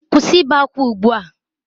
Kwụsị ibe ákwá ugbu a!